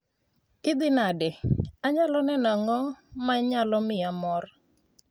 Idhi nade? Anyalo neno ang'o ma nyalo miya mor?